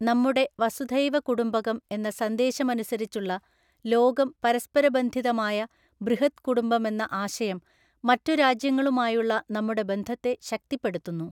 നമ്മുടെ വസുധൈവകുടുംബകം എന്ന സന്ദേശമനുസരിച്ചുള്ള, ലോകം പരസ്പര ബന്ധിതമായ ബൃഹദ് കുടുംബമെന്ന ആശയം മറ്റു രാജ്യങ്ങളുമായുള്ള നമ്മുടെ ബന്ധത്തെ ശക്തിപ്പെടുത്തുന്നു.